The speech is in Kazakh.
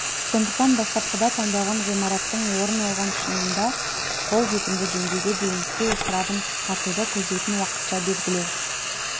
сондықтан бастапқыда таңдалған ғимараттың орын алған шынында қол жетімді деңгейге дейін су ысырабын қысқартуды көздейтін уақытша белгілеу